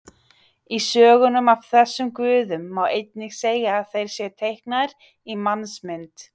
Í sögunum af þessum guðum má einnig segja að þeir séu teiknaðir í mannsmynd.